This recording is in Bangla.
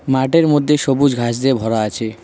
মাঠের মধ্যে সবুজ ঘাস দিয়ে ভরা আছে।